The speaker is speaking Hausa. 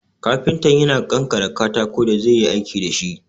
Kafinta yana ƙanƙare katakon da zai yi aiki dashi